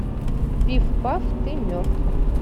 пиф паф ты мертв